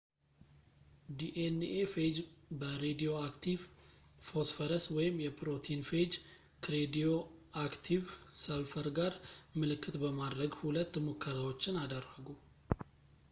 ዲ ን ኤ ፌጅ በሬዲዮአክቲቭ ፎስፈረስ ወይም የፕሮቲን ፌጅ ከሬዲዮአክቲቭ ሰልፈር ጋር ምልክት በማድረግ ሁለት ሙከራዎችን አደረጉ